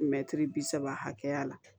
Mɛtiri bi saba hakɛya la